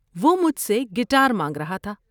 وہ مجھ سے گٹار مانگ رہا تھا۔